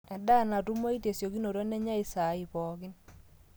endaa natumoi tesiokinoto nenyai isai pooki